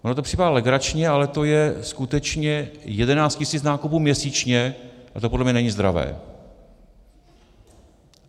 Vám to připadá legrační, ale to je skutečně 11 tisíc nákupů měsíčně a to podle mě není zdravé.